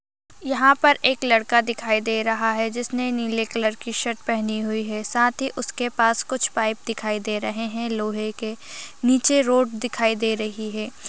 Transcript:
यहाँ पर एक लड़का दिखाई दे रहा है जिसने नीले कलर की शर्ट पहेनी हुई है साथ ही उसके पास कुछ पाइप दिखाई दे रहे है लोहे के नीचे रोड दिखाई दे रही हैं।